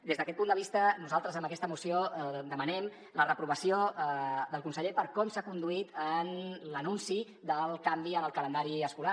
des d’aquest punt de vista nosaltres amb aquesta moció demanem la reprovació del conseller per com s’ha conduït en l’anunci del canvi en el calendari escolar